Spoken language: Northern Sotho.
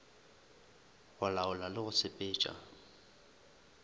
go laola le go sepetša